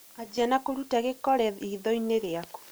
anjia ba kurũta gĩkore ritho-inĩ rĩakũ